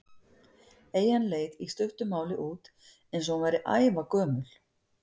Eyjan leit í stuttu máli út eins og hún væri ævagömul.